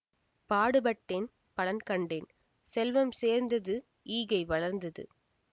பாடு பட்டேன் பலன் கண்டேன் செல்வம் சேர்ந்தது ஈகை வளர்ந்தது